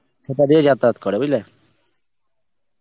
সেটা দিয়ে যাতায়াত করে, বুঝলে?